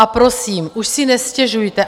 A prosím, už si nestěžujte.